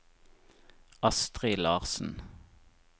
Astrid Larsen